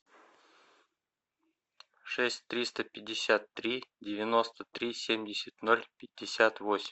шесть триста пятьдесят три девяносто три семьдесят ноль пятьдесят восемь